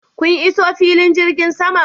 Kun iso filin jirgin saman?